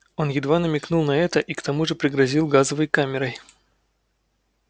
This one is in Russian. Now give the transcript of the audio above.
он едва намекнул на это и к тому же пригрозил газовой камерой